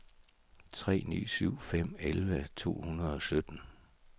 tre ni syv fem elleve to hundrede og sytten